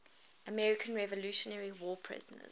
american revolutionary war prisoners